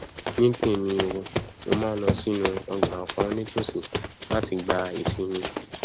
ní tèmi o mo máa nlọ sínú ọgbà kan nítòsí láti gba ìsinmi